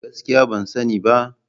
Gaskiya ban sani ba.